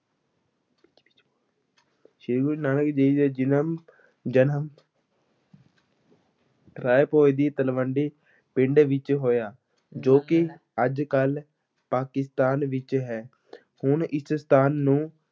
ਸ੍ਰੀ ਗੁਰੂ ਨਾਨਕ ਦੇਵ ਜੀ ਦਾ ਜਨਮ ਜਨਮ ਰਾਇ ਭੋਇ ਦੀ ਤਲਵੰਡੀ ਪਿੰਡ ਵਿੱਚ ਹੋਇਆ, ਜੋ ਕਿ ਅੱਜ-ਕੱਲ੍ਹ ਪਾਕਿਸਤਾਨ ਵਿੱਚ ਹੈ ਹੁਣ ਇਸ ਸਥਾਨ ਨੂੰ